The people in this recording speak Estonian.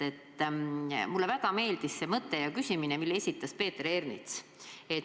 Mulle väga meeldis see küsimus, mille esitas Peeter Ernits.